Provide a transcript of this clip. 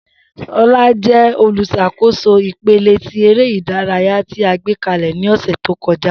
Shola jẹ oluṣakoso ipele ti ere idaraya ti a gbekalẹ ni ọsẹ to kọja.